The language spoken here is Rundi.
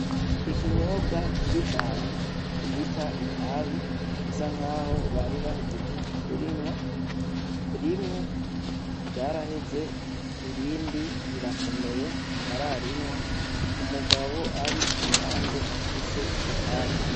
Ikinyobwa kibi cane bita itabi isa nkaho bari bahejeje kurinwa, rimwe ryaraheze irindi rirakomeye ntibararinwa, umugabo ari kuruhande afise iryo tabi.